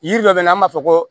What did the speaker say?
Yiri dɔ bɛ na an b'a fɔ ko